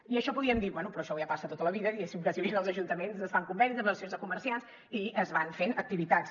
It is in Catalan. i podríem dir bé però això ja ha passat tota la vida diguéssim perquè en els ajuntaments es fan convenis amb les associacions de comerciants i es van fent activitats